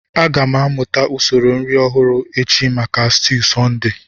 Aga m amụta usoro nri ọhụrụ echi maka stuu Sunday